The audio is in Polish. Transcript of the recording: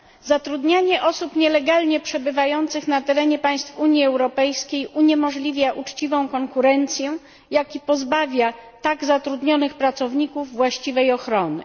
Zatrudnianie osób nielegalnie przebywających na terenie państw Unii Europejskiej uniemożliwia uczciwą konkurencję, jak i pozbawia tak zatrudnionych pracowników właściwej ochrony.